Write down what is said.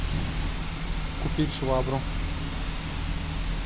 купить швабру